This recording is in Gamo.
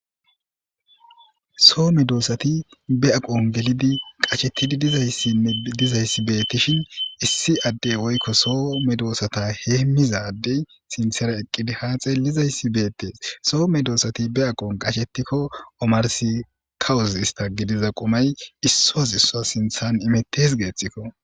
Soo me doossati be aqon gelidi qashetidi dizayssi dizayssi beettishin issi addey woykko soo me doossata heemmiza addey sinthera eqqidi haaxe lizayssi beettees soo me doosati be aqon qashetikko omarsi kawuz ista gidiza qumay issoos issoa sinthan imettes geexxikko